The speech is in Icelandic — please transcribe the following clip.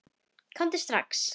Komdu strax!